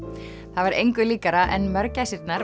það var engu líkara en